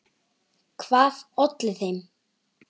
Hvað olli þeim?